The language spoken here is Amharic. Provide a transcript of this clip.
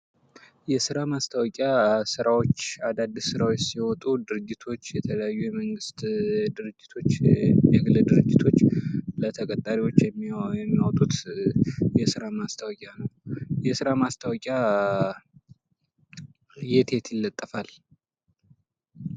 የስራ ማስታወቂያ ስራዎች አዳዲስ ስራዎች ሲወጡ ድርጅቶች የተለያዩ የመንግስት ድርጅቶች የግል ድርጅቶች ለተቀጣሪዎች የሚያወጡት የስራ ማስታወቂያ። የስራ ማስታወቂያ የት የት ይለጠፋል?